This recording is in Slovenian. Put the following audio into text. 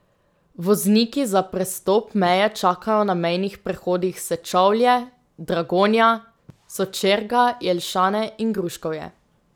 Vozniki za prestop meje čakajo na mejnih prehodih Sečovlje, Dragonja, Sočerga, Jelšane in Gruškovje.